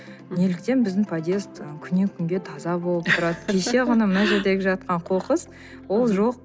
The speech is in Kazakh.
неліктен біздің подъезд ы күннен күнге таза болып тұрады кеше ғана мына жердегі жатқан қоқыс ол жоқ